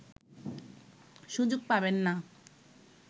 সুযোগ পাবেন না